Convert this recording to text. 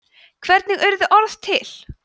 hvernig urðu orð til